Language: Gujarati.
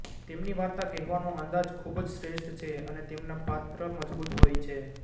તેમની વાર્ત કહેવાનો અંદાજ ખૂબ જ શ્રેષ્ઠ છે અને તેમના પાત્ર મજબૂત હોય છે